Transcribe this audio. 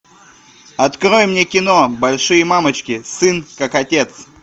открой мне кино большие мамочки сын как отец